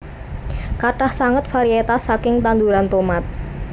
Kathah sanget varietas saking tanduran tomat